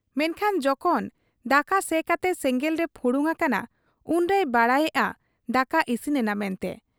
ᱢᱮᱱᱠᱷᱟᱱ ᱡᱚᱠᱷᱚᱱ ᱫᱟᱠᱟ ᱥᱮ ᱠᱟᱛᱮ ᱥᱮᱸᱜᱮᱞᱨᱮ ᱯᱷᱩᱲᱩᱝ ᱟᱠᱟᱱᱟ, ᱩᱱᱨᱮᱭ ᱵᱟᱰᱟᱭᱮᱜ ᱟ ᱫᱟᱠᱟ ᱤᱥᱤᱱᱮᱱᱟ ᱢᱮᱱᱛᱮ ᱾